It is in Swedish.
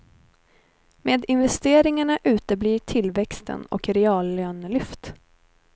Med investeringarna uteblir tillväxten och reallönelyft.